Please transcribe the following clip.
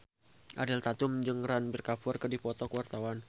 Ariel Tatum jeung Ranbir Kapoor keur dipoto ku wartawan